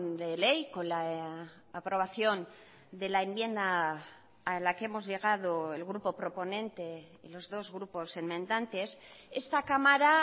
de ley con la aprobación de la enmienda a la que hemos llegado el grupo proponente y los dos grupos enmendantes esta cámara